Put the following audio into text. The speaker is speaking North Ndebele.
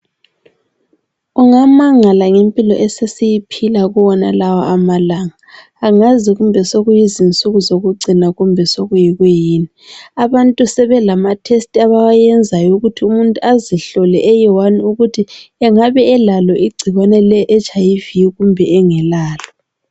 Ungamangala ngempilo esesiyiphila kuwonalawa amalanga angazi kumbe sokuyizinsuku zokucina kumbe sokukuyini abantu sebalatest abawayenzayo ukuthi umuntu azihlole eyi1 ukuthi engabe elalo igcikwane leHIV kumbe engelalo.